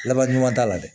Laban ɲuman t'a la dɛ